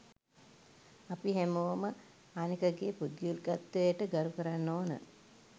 අපි හැමෝම අනෙකගෙ පුද්ගලිකත්වයට ගරුකරන්න ඕන.